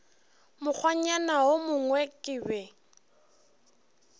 mokgwanyana wo mongwe ke be